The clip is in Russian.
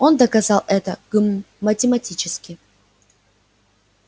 он доказал это гм математически